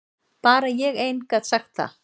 Bara ég ein gat sagt það.